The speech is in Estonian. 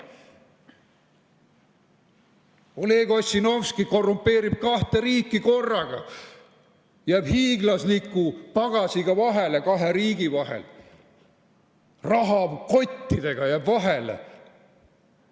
Oleg Ossinovski korrumpeerib kahte riiki korraga, jääb hiiglasliku pagasiga vahele kahe riigi vahel, rahakottidega jääb vahele.